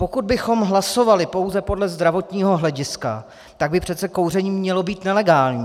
Pokud bychom hlasovali pouze podle zdravotního hlediska, tak by přece kouření mělo být nelegální.